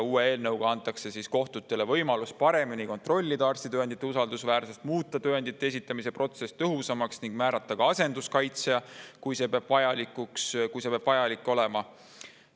Eelnõu kohaselt antakse kohtutele võimalus paremini kontrollida arstitõendite usaldusväärsust, muuta tõendite esitamise protsess tõhusamaks ning määrata ka asenduskaitsja, kui see peaks vajalik olema.